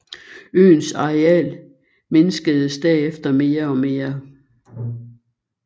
Øens areal mindskedes derefter mere og mere